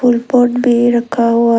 और पॉट भी रखा हुआ है।